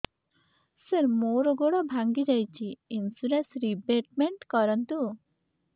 ସାର ମୋର ଗୋଡ ଭାଙ୍ଗି ଯାଇଛି ଇନ୍ସୁରେନ୍ସ ରିବେଟମେଣ୍ଟ କରୁନ୍ତୁ